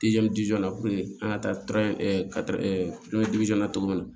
an ka taa na cogo min na